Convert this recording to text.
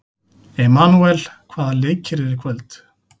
Emanúel, hvaða leikir eru í kvöld?